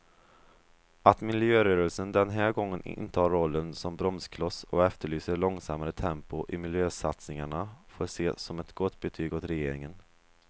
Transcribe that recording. Att miljörörelsen den här gången intar rollen som bromskloss och efterlyser långsammare tempo i miljösatsningarna får ses som ett gott betyg åt regeringen.